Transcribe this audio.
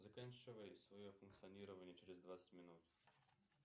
заканчивай свое функционирование через двадцать минут